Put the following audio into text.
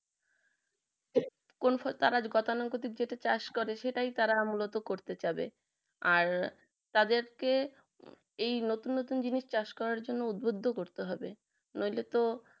কোন ফল তারা উপাদান যেটা চাষ করে সেটাই তারা মূলত করতে চাবে আর তাদের কে এই নতুন নতুন জিনিস চাষ করার জন্য উদ্যোক্ত করতে হবে নইলে তো